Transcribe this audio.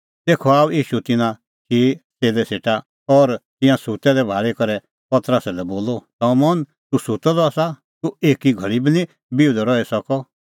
तेखअ आअ ईशू तिन्नां चिई च़ेल्लै सेटा और तिंयां सुत्तै दै भाल़ी करै पतरसा लै बोलअ शमौन तूह सुत्तअ द आसा तूह एकी घल़ी बी निं बिहुदअ रही सकअ